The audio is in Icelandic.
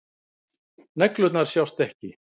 Neglurnar sjást ekki.